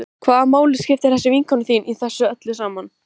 Hvaða máli skiptir þessi vinkona þín í þessu öllu saman?